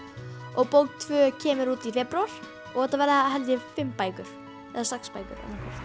og bók tvö kemur út í febrúar og þetta verða held ég fimm bækur eða sex bækur